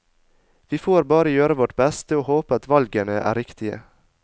Vi får bare gjøre vårt beste og håpe at valgene er riktige.